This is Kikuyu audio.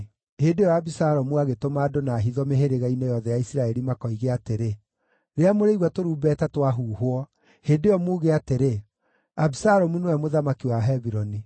Hĩndĩ ĩyo Abisalomu agĩtũma andũ na hitho mĩhĩrĩga-inĩ yothe ya Isiraeli makoige atĩrĩ, “Rĩrĩa mũrĩigua tũrumbeta twahuhwo, hĩndĩ ĩyo muuge atĩrĩ, ‘Abisalomu nĩwe mũthamaki wa Hebironi.’ ”